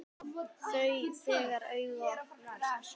Þú, þegar augu opnast.